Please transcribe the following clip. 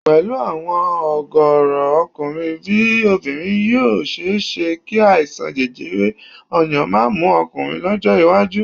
Pẹ̀lú àwọn ọ̀gọ̀ọ̀rọ̀ ọkùnrin bí obìnrin yìí ó ṣe é ṣé kí àìsàn jẹjẹrẹ ọyàn máa mú ọkùnrin lọ́jọ́ iwájú